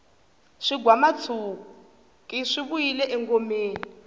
swigwamatshuki swi vuyile engomeni